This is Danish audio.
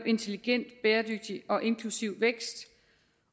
intelligent bæredygtig og inklusiv vækst